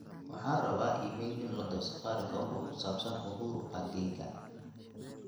waxaan rabaa iimayl in lo diro safaricom oo ku saabsan uhuru park keyga